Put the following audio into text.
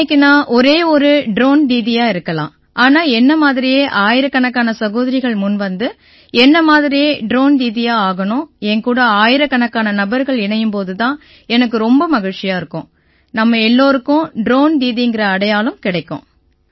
இன்னைக்கு நான் ஒரே ஒரு ட்ரோன் தீதியா இருக்கலாம் ஆனால் என்னை மாதிரியே ஆயிரக்கணக்கான சகோதரிகள் முன்வந்து என்னை மாதிரியே ட்ரோன் தீதியா ஆகணும் என் கூட ஆயிரக்கணக்கான நபர்கள் இணையும் போது தான் எனக்கு ரொம்ப மகிழ்ச்சியா இருக்கும் நம்ம எல்லாருக்கும் ட்ரோன் தீதிங்கற அடையாளம் கிடைக்கும்